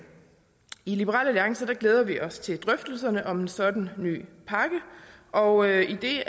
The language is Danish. i liberal alliance glæder vi os til drøftelserne om en sådan ny pakke og idet